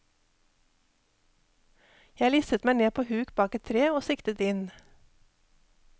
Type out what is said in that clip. Jeg listet meg ned på huk bak et tre, og siktet inn.